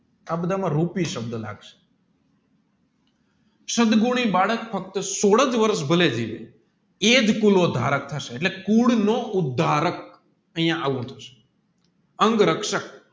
આ બધા મા રૂપી સબધ લાગશે બાળક ફક્ત સોડજ વારસ ભલે જીવે એજ કુલ નો ધારક થશે એટલે ફૂડ નો ઉધારક અહીંયા આવું થશે અંગરક્ષક